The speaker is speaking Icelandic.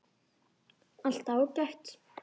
Allt ágætt.